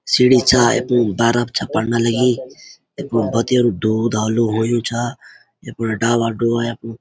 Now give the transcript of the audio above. सीढ़ी छा बरफ छा पड़ना लगीं यख्मु भतेरू दूध ह्वालू होयुं छा यखफुन डाला डोला --